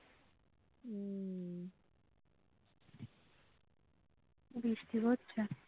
বৃষ্টি হচ্ছে